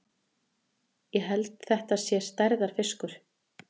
Ég held þetta sé stærðarfiskur!